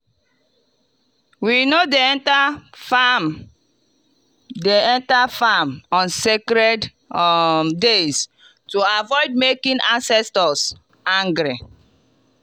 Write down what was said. we no dey enter farm dey enter farm on sacred um days to avoid making ancestors angry.